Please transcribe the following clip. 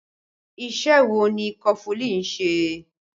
Ìṣe wo ni kọfulin ń ṣe?